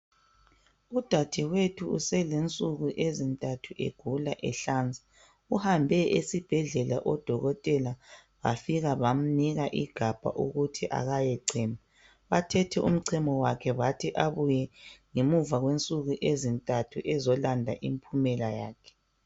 udadewethu uselensuku ezintathu egula ehlanza uhambe esibhedlela odokotela bafika bamnika igabha ukuthi akayechema bathethe umchemo wakhe bathi kabuye ngemva kwensuku ezintathu ezolanda imphumela yakhe